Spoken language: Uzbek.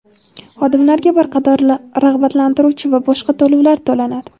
xodimlarga bir qator rag‘batlantiruvchi va boshqa to‘lovlar to‘lanadi.